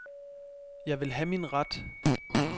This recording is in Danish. Jeg vil have min ret.